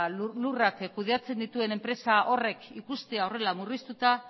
lurrak kudeatzen dituen enpresa horrek ikustea horrela murriztuta